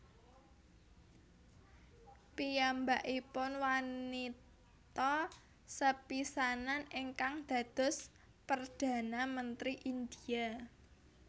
Piyambakipun wanita sepisanan ingkang dados perdhana mentri India